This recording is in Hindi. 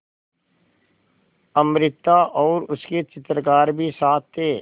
अमृता और उसके चित्रकार भी साथ थे